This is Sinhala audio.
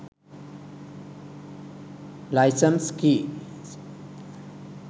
license keys